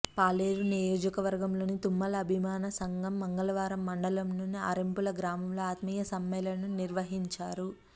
పాలేరు నియోజకవర్గంలోని తుమ్మల అభిమాన సంఘం మంగళవారం మండలంలోని ఆరెంపుల గ్రామంలో ఆత్మీయ సమ్మెళనం నిర్వహించారు